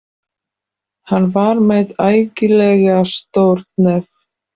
Hann var með ægilega stórt nef.